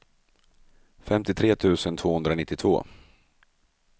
femtiotre tusen tvåhundranittiotvå